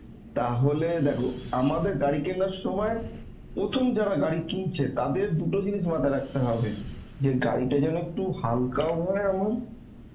তাহলে দেখো আমাদের গাড়ি কেনার সমায় প্রথম যারা গাড়ি কিনছে তাদের দুটো জিনিস মাথায় রাখতে হবে, যে গাড়িটা যেন একটু হালকা ও হয় আমার